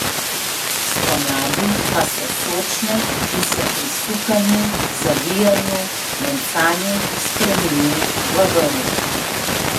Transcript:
Spomladi pa so sočne in se pri sukanju, zavijanju, mencanju spremene v vrv.